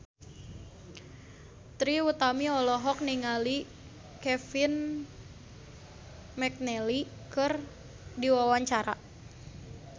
Trie Utami olohok ningali Kevin McNally keur diwawancara